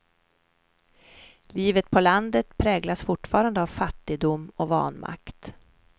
Livet på landet präglas fortfarande av fattigdom och vanmakt.